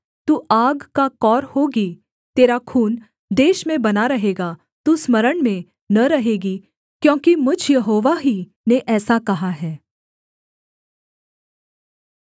तू आग का कौर होगी तेरा खून देश में बना रहेगा तू स्मरण में न रहेगी क्योंकि मुझ यहोवा ही ने ऐसा कहा है